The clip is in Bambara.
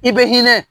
I bɛ hinɛ